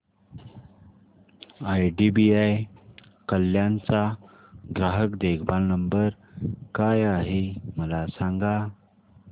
IDBI Kalyan चा ग्राहक देखभाल नंबर काय आहे मला सांगा